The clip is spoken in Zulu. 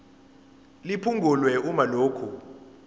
liphungulwe uma lokhu